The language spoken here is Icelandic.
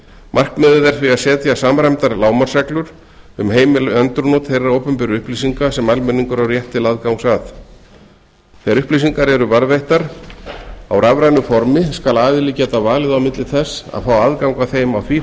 markmiðið er því að setja samræmdar lágmarksreglur um heimil endurnot þeirra opinberu upplýsinga sem almenningur á rétt til aðgangs að þegar upplýsingar eru varðveittar á rafrænu formi skal aðili geta valið á milli þess að fá aðgang að þeim á því